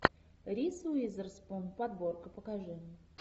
риз уизерспун подборка покажи